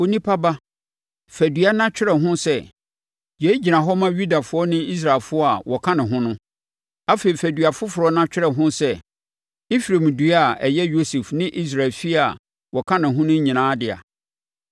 “Onipa ba, fa dua na twerɛ ho sɛ, ‘Yei gyina hɔ ma Yudafoɔ ne Israelfoɔ a wɔka ne ho no.’ Afei fa dua foforɔ na twerɛ ho sɛ, ‘Efraim dua a ɛyɛ Yosef ne Israel efie a wɔka ne ho nyinaa dea.’